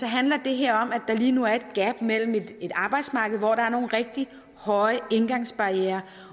handler det her om at der lige nu er et gap mellem et arbejdsmarked hvor der er nogle rigtig høje indgangsbarrierer